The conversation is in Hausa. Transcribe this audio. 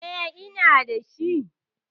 Eh, ina dashi.